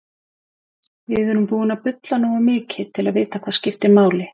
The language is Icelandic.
Við erum búin að bulla nógu mikið til að vita hvað skiptir máli.